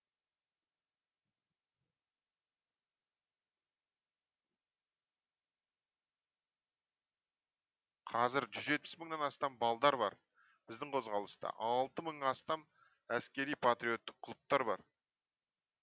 қазір жүз жетпіс мыңнан астам балдар бар біздің қозғалыста алты мыңнан астам әскери патриоттық клубтар бар